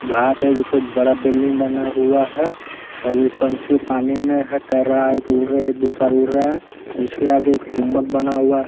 घाट है देखिए बड़ा बिल्डिंग बना हुआ है और ये पंछी पानी में है तैर रहा की उड़ रहा है दो चार उड़ रहे है जिसके आगे गुम्मद बना हुआ--